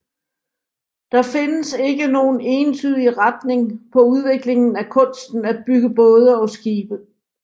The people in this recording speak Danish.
Der findes ikke nogen entydig retning på udviklingen af kunsten at bygge både og skibe